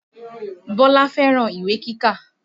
Bọ́lá fẹ́ràn ìwé kíkà